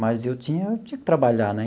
Mas eu tinha que trabalhar, né?